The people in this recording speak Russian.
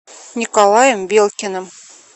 николаем белкиным